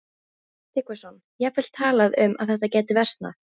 Sölvi Tryggvason: Jafnvel talað um að þetta gæti versnað?